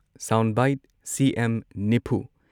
sound bite CM ꯅꯤꯐꯨ